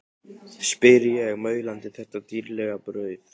spyr ég, maulandi þetta dýrlega brauð.